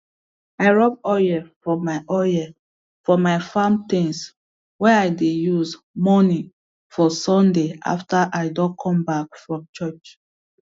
i rub oil for my oil for my farm things way i dey use morning for sunday after i don come back from church